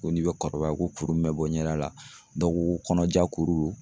Ko n'i be kɔrɔbaya ko kuru mun be bɔ ɲɛda la, dɔw ko ko kɔnɔja kuru